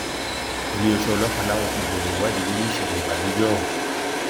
iléeṣẹ ọlọpàá làwọn ti bẹrẹ ìwádìí lórí ìṣẹlẹ ìbànújẹ ọhún